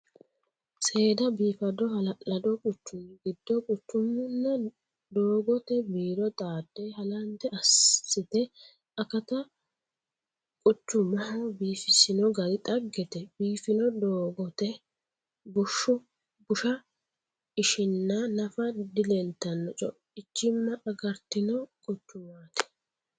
Seeda biifado hala'lado quchumi giddo quchumunna doogote biiro xaade halante assite akata quchumuha biifisino gari dhaggete biifino doogote busha ishina nafa dileeltano coichima agaratino quchumati.